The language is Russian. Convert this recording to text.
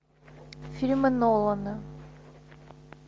фильмы нолана